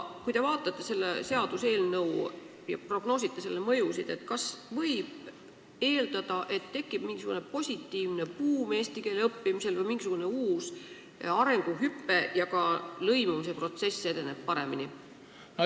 Kui te vaatate seda seaduseelnõu ja prognoosite selle mõjusid, siis kas võib eeldada, et eesti keele õppimisel tekib mingisugune positiivne buum või uus arenguhüpe ja ka lõimumise protsess edeneb paremini?